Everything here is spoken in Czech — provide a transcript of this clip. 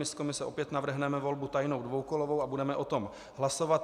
My z komise opět navrhneme volbu tajnou dvoukolovou a budeme o tom hlasovat.